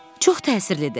Çox təsirlidir.